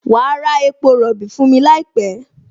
Wà á ra epo rọ̀bì fún mi láìpẹ́!